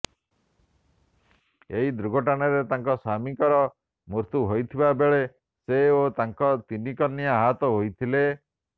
ଏହି ଦୁର୍ଘଟଣାରେ ତାଙ୍କ ସ୍ୱାମୀଙ୍କର ମୃତ୍ୟୁ ହୋଇଥିବାବେଳେ ସେ ଓ ତାଙ୍କ ତିନି କନ୍ୟା ଆହତ ହୋଇଥିଲେ